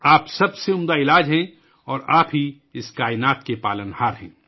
آپ بہترین دوا ہیں اور آپ ہی اس کائنات کو پالنے والے ہیں